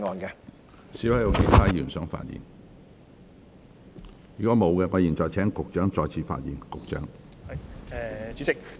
如果沒有，我現在請局長再次發言。